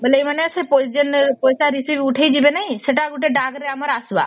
ମାନେ ଏମାନେ ପଇସା receipt ଉଠେଇକି ଦେବେନି ସେଟା ଗୋଟେ ଆମର ଆସିବା